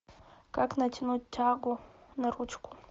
как натянуть тягу на ручку